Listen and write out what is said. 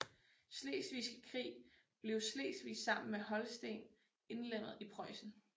Slesvigske Krig blev Slesvig sammen med Holsten indlemmet i Preussen